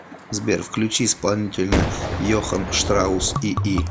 сбер включи исполнителя йохан штраус ии